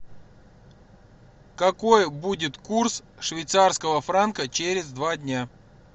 какой будет курс швейцарского франка через два дня